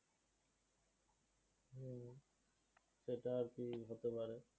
সেটা আর কি হতে পারে।